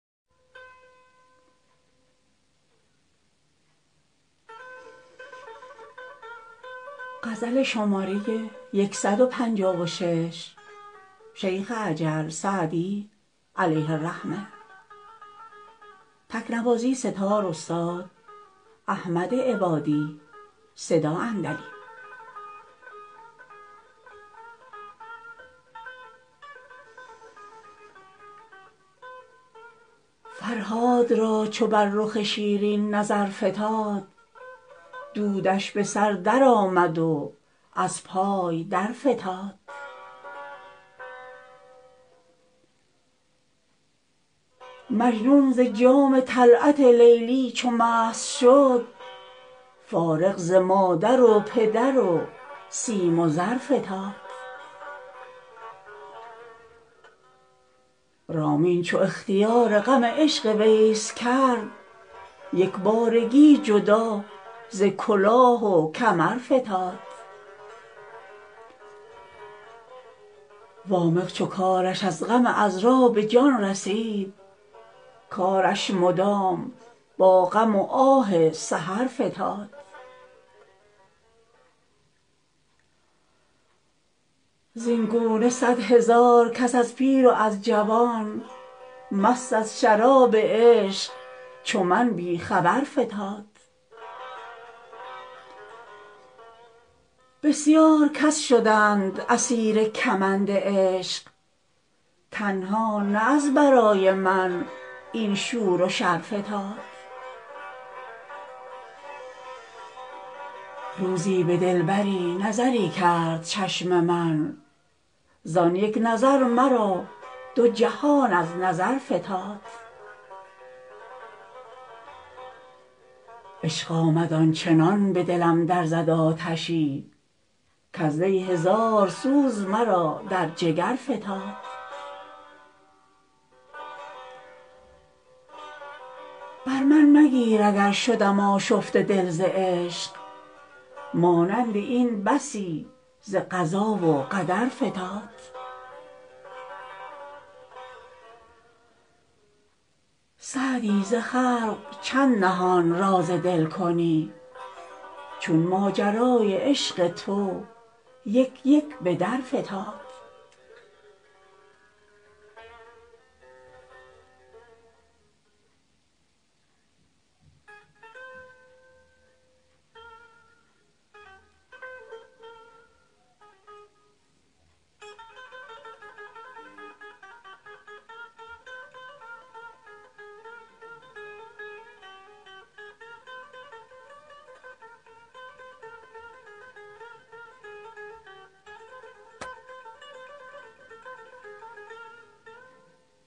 فرهاد را چو بر رخ شیرین نظر فتاد دودش به سر درآمد و از پای درفتاد مجنون ز جام طلعت لیلی چو مست شد فارغ ز مادر و پدر و سیم و زر فتاد رامین چو اختیار غم عشق ویس کرد یک بارگی جدا ز کلاه و کمر فتاد وامق چو کارش از غم عـذرا به جان رسید کارش مدام با غم و آه سحر فتاد زین گونه صدهزار کس از پیر و از جوان مست از شراب عشق چو من بی خبر فتاد بسیار کس شدند اسیر کمند عشق تنها نه از برای من این شور و شر فتاد روزی به دلبری نظری کرد چشم من زان یک نظر مرا دو جهان از نظر فتاد عشق آمد آن چنان به دلم در زد آتشی کز وی هزار سوز مرا در جگر فتاد بر من مگیر اگر شدم آشفته دل ز عشق مانند این بسی ز قضا و قدر فتاد سعدی ز خلق چند نهان راز دل کنی چون ماجرای عشق تو یک یک به در فتاد